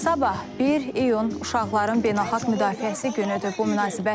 Sabah, 1 iyun Uşaqların Beynəlxalq Müdafiəsi günüdür.